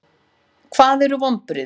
Hvað eru vonbrigði?